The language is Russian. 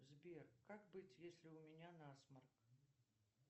сбер как быть если у меня насморк